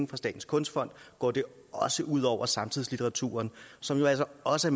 på statens kunstfond går det også ud over samtidslitteraturen som jo altså også